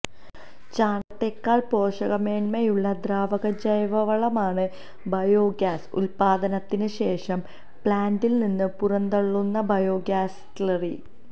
ചാണകത്തേക്കാള് പോഷകമേന്മയുള്ള ദ്രാവകജൈവവളമാണ് ബയോഗ്യാസ് ഉല്പാദനത്തിന് ശേഷം പ്ലാന്റില് നിന്ന് പുറന്തള്ളുന്ന ബയോഗ്യാസ് സ്ലറി